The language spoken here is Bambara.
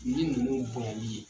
Ni mogow bonyali ye.